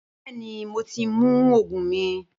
Bẹẹni mo ti mu oogun mi.